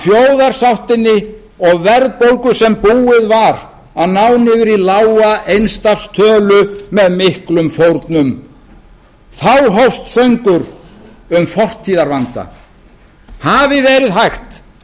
þjóðarsáttinni og verðbólgu sem búið var að ná niður í lága eins stafs tölu með miklum fórnum þá hófst söngur um fortíðarvandann hafi verið hægt